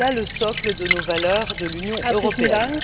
C'est cela le socle de nos valeurs de l'Union européenne.